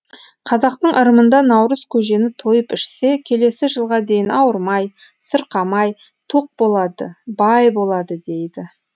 қазақтың ырымында наурыз көжені тойып ішсе келесі жылға дейін ауырмай сырқамай тоқ болады бай болады дейді